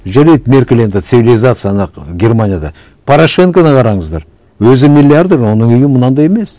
жарайды меркель енді цивилизация ана германияда порошенконы қараңыздар өзі миллиардер оның үйі мынандай емес